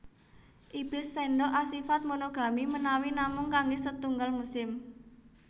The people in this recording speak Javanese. Ibis sendok asifat monogami menawi namung kangge setunggal musim